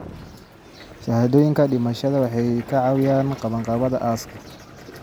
Shahaadooyinka dhimashada waxay ka caawiyaan qabanqaabada aaska.